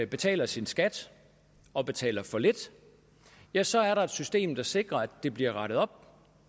betaler sin skat og betaler for lidt ja så er der et system der sikrer at det bliver rettet op